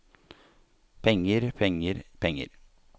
penger penger penger